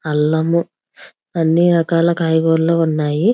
అల్లం అన్ని రకాల కాయగూరలు ఉన్నాయి.